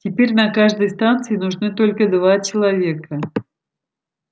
теперь на каждой станции нужны только два человека